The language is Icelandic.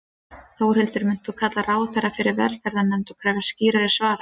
Þórhildur: Munt þú kalla ráðherra fyrir velferðarnefnd og krefjast skýrari svara?